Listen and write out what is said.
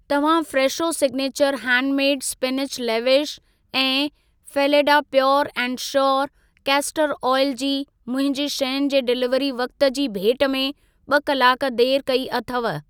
तव्हां Fresho signature handmade spinach lavash ऐं Phalada pure and sure castor oil जी मुंहिंजी शयुनि जे डिलीवरी वक़्ति जी भेट में ॿ कलाक देर कई अथव।